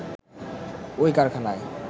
ওই কারখানায়